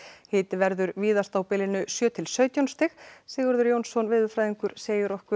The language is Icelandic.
hiti verður víðast á bilinu sjö til sautján stig Sigurður Jónsson veðurfræðingur segir okkur